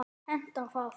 Hentar það?